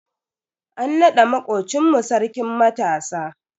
An nada makocin mu Sarkin matasa.